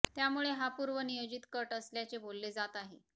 त्यामुळे हा पूर्व नियोजित कट असल्याचे बोलले जात आहे